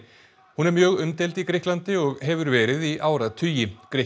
hún er mjög umdeild í Grikklandi og hefur verið í áratugi